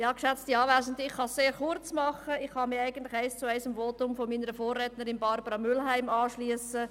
Ich kann es sehr kurz machen, ich kann mich eins zu eins dem Votum meiner Vorrednerin, Grossrätin Mühlheim, anschliessen.